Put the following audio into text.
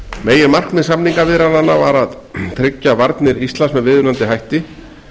meginmarkmið samningaviðræðnanna voru að tryggja varnir landsins með viðunandi hætti